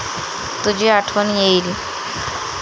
तुझी आठवण येईल.